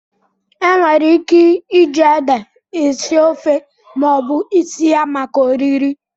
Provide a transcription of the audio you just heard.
Enwere ike iji ede esi ofe ma ọ bụ isi ya maka oriri.